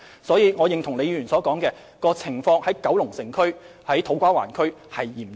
所以，我認同李議員所說，九龍城和土瓜灣的情況相當嚴峻。